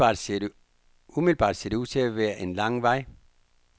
Umiddelbart ser det ud til at være en lang vej.